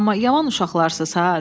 Amma yaman uşaqlarsız ha!